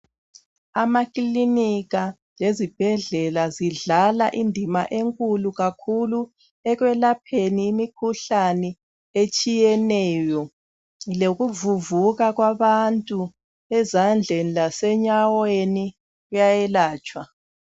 Amaclinika lezibhedlela kudlala indima enkulu kakhulu ekwelapheni imikhuhlane etshiyeneyo lokuvuvuka kwabantu ezandleni lase nyaweni uyayelatshwa